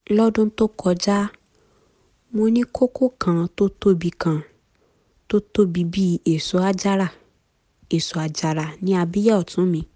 lọ́dún tó kọjá mo ní kókó kan tó tóbi kan tó tóbi bí èso àjàrà ní abíyá ọ̀tún mi